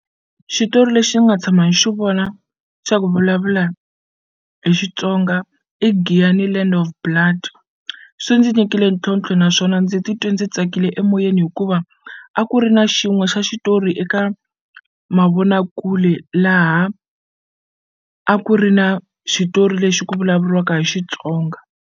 Xitori lexi ni nga tshama ni xi vona xa ku vulavula hi Xitsonga i Giyani Land of Blood swi ndzi nyikile ntlhontlho naswona ndzi titwe ndzi tsakile emoyeni hikuva a ku ri na xin'we xa xitori eka mavonakule laha a ku ri na xitori lexi ku vulavuriwaka hi Xitsonga.